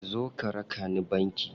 Zo ka raka ni banki.